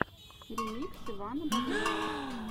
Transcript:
ремикс ивана боброва